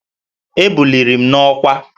Ebuliri m n'ọkwá